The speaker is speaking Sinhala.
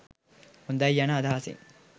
හොඳයි යන අදහසින්